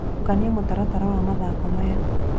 Tũkanĩa mũtaratara wa mathako maya